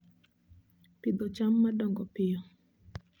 Pidho cham ma dongo piyo